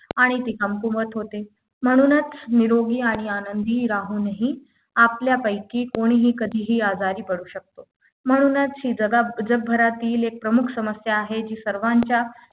आणि ती कमकुवत होते म्हणूनच निरोगी आनंदी राहूनही आपल्यापैकी कोणीही कधीही आजारी पडू शकतो म्हणूनच ही जगाब जगभरातील एक प्रमुख समस्या आहे जी सर्वांच्या